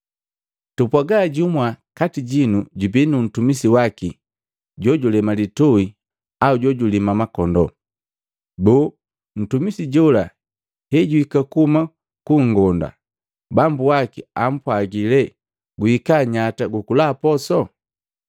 “Tupwaga jumwa kati jinu jubi nu ntumisi waki jojulema litui au julima makondoo. Boo, ntumisi jola hejuhika kuhuma ku nngonda, bambu waki ampwagila lee, ‘Guhika nyata gu kula poso?’